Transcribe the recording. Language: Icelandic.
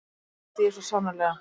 Það vildi ég svo sannarlega.